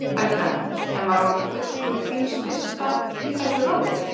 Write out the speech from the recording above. Helga: En var hún ekki fulltrúi þíns lista í þessu ráði?